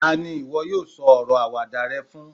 tani iwọ yíò sọ ọrọ Àwàdà rẹ fún